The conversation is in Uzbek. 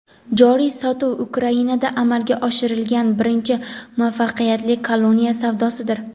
Joriy sotuv Ukrainada amalga oshirilgan birinchi muvaffaqiyatli koloniya savdosidir.